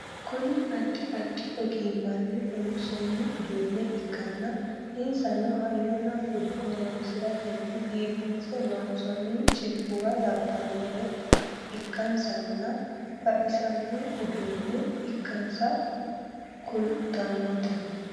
Kuni addi addi ogimmanni loomsoonni uduunne ikkanna insano hayyona bude horonsiratenni biifinse loonsoonni cilfuwa labbannore ikkansanna baxisanno uduunne ikkansa kultannote